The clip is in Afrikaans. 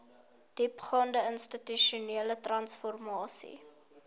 diepgaande institusionele transformasie